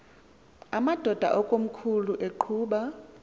amadod akomkhul eqhub